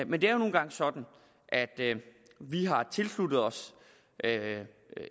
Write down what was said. men det er jo nu engang sådan at vi har tilsluttet os